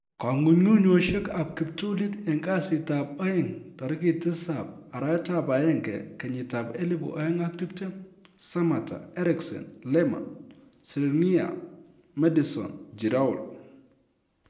Kong'ung'unyosiek ab kiptulit en kasitab aeng tarigit 07/01/2020: Sammatta, Eriksen, Lemar, Skriniar, Maddison, Giroud